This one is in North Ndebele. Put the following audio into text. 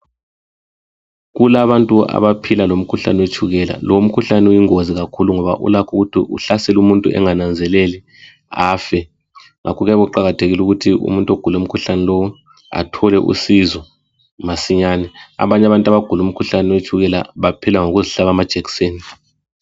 Kulabantu abaphila lomkhuhlane we tshukela lomkhuhlane uyingozi kakhulu ngoba ulakho ukuthi uhlasele umuntu angananzeleli afe . Ngakho kuyabe kuqakathekile ukuthi umuntu ogula umkhuhlane lo athole usizo masinyane. Abantu abagula umkhuhlane wetshukela baphila ngokuzihlaba amajekiseni.